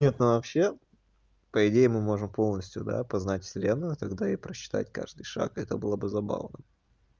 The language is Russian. нет ну вообще по идее мы можем полностью да познать вселенную тогда и просчитать каждый шаг это было бы забавно